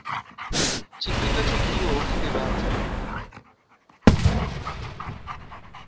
tshifhinga tsho buliwaho kha ndivhadzo